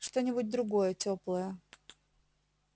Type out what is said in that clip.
что-нибудь другое тёплое